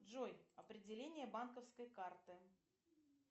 джой определение банковской карты